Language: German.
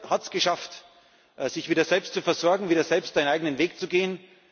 Zypern hat es geschafft, sich wieder selbst zu versorgen, wieder selbst einen eigenen Weg zu gehen.